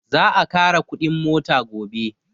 Za a ƙara kuɗin mota gobe